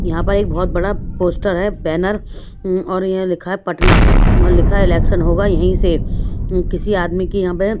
यहाँ पर एक बहुत बड़ा पोस्टर है बैनर और ये लिखा है पटना और लिखा है इलेक्शन होगा यहीं से किसी आदमी की यहाँ पे --